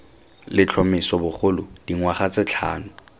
letlhomeso bogolo dingwaga tse tlhano